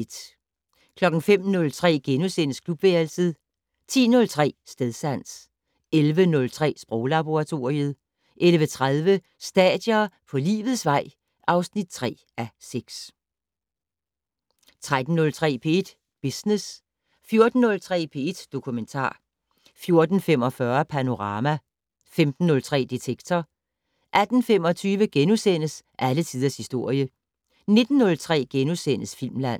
05:03: Klubværelset * 10:03: Stedsans 11:03: Sproglaboratoriet 11:30: Stadier på livets vej (3:6) 13:03: P1 Business 14:03: P1 Dokumentar 14:45: Panorama 15:03: Detektor 18:25: Alle tiders historie * 19:03: Filmland *